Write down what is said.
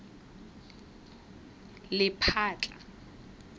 lephatla